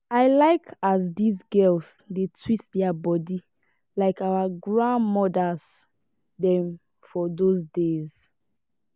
i like as dese girls dey twist their body like our grand-mothers dem for dose days.